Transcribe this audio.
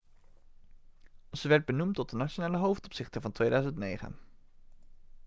ze werd benoemd tot de nationale hoofdopzichter van 2009